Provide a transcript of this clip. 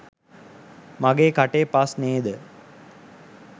මගේ කටේ පස් නේද?